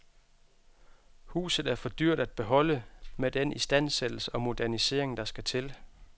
Huset er for dyrt at beholde med den istandsættelse og modernisering, der skal til.